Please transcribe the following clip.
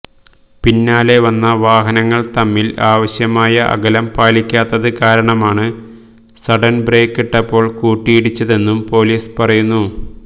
പിന്നാലെ വന്ന വാഹനങ്ങള് തമ്മില് ആവശ്യമായ അകലം പാലിക്കാത്തത് കാരണമാണ് സഡന് ബ്രേക്കിട്ടപ്പോള് കൂട്ടിയിടിച്ചതെന്നും പൊലീസ് പറയുന്നു